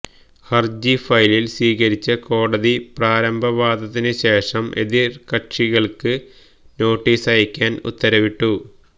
ഹര്ജി ഫയലില് സ്വീകരിച്ച കോടതി പ്രാരംഭവാദത്തിന് ശേഷം എതിര്കക്ഷികള്ക്ക് നോട്ടീസയക്കാന് ഉത്തരവിട്ടു